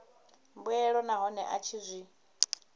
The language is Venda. mbuelo nahone a tshi zwi